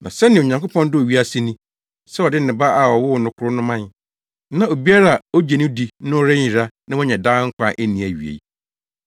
“Na sɛnea Onyankopɔn dɔɔ wiase ni, sɛ ɔde ne Ba a ɔwoo no koro no mae, na obiara a ogye no di no nyera na wanya nkwa a enni awiei.